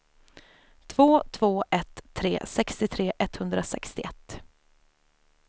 två två ett tre sextiotre etthundrasextioett